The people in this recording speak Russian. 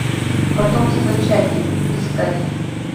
потомство чаки искать